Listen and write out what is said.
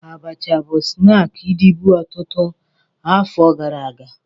Abacha bụ snaakị dịbu ọtụtụ afọ gara aga